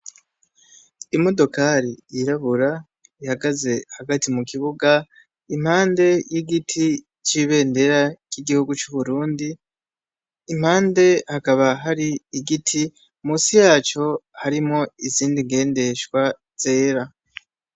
Imodokali yirabura ihagaze hagati mu kibuga impande y'igiti c'ibendera r'igihugu c'uburundi impande hakaba hari igiti musi yaco harimo izindi ngendeshwa zera.